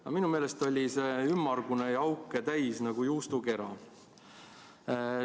Aga minu meelest oli see ümmargune ja auke täis nagu juustukera.